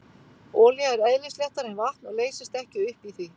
Olía er eðlisléttari en vatn og leysist ekki upp í því.